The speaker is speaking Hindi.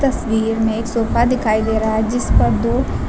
तस्वीर में एक सोफा दिखाई दे रहा है जिस पर दो--